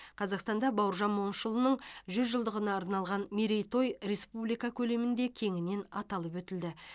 қазақстанда бауыржан момышұлының жүз жылдығына арналған мерейтой республика көлемінде кеңінен аталып өтілді